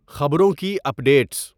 خبروں کی اپ ڈیٹس